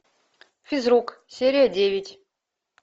физрук серия девять